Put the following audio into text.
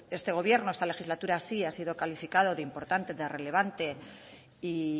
este gobierno esta legislatura sí ha sido calificado de importante de relevante y